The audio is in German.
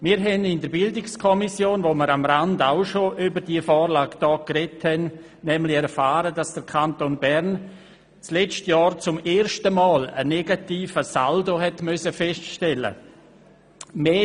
Wir erfuhren in der BiK, als wir bereits am Rande über diese Vorlage sprachen, dass der Kanton Bern im vergangenen Jahr zum ersten Mal einen negativen Saldo feststellen musste: